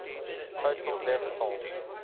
total death toll